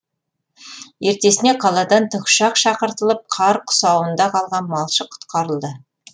ертесіне қаладан тікұшақ шақыртылып қар құсауында қалған малшы құтқарылды